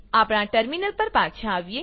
આપણા ટર્મીનલ પર પાછા આવીએ